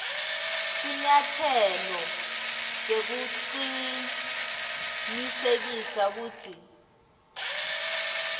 tinyatselo tekucinisekisa kutsi